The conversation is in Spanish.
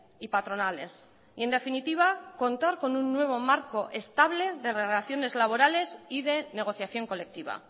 y patronales y en definitiva contar con un nuevo marco estable de relaciones laborales y de negociación colectiva